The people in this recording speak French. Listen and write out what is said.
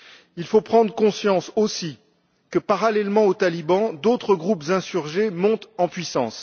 Il faut prendre conscience aussi que, parallèlement aux talibans, d'autres groupes insurgés montent en puissance.